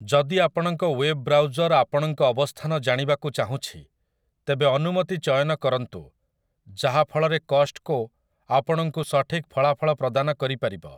ଯଦି ଆପଣଙ୍କ web browser ଆପଣଙ୍କ ଅବସ୍ଥାନ ଜାଣିବାକୁ ଚାହୁଁଛି, ତେବେ 'ଅନୁମତି' ଚୟନ କରନ୍ତୁ, ଯାହାଫଳରେ କଷ୍ଟ୍‌କୋ ଆପଣଙ୍କୁ ସଠିକ ଫଳାଫଳ ପ୍ରଦାନ କରିପାରିବ ।